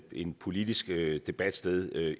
en politisk debat sted